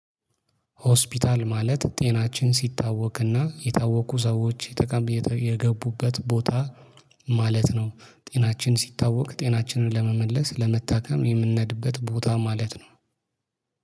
ሆስፒታል ማለት ጤናችን ሲታወክና የታወኩ ሰዎች የጠቀም የገቡበት ቦታ ማለት ነው። ጤናችን ሲታወቅ ጤናችንን ለመመለስ ለመታከም የምንነድበት ቦታ ማለት ነው